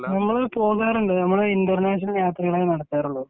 നമ്മൾ പോവാറുണ്ട് നമ്മൾ ഇന്റർനാഷണൽ യാത്രകളെ നടത്താറുള്ളു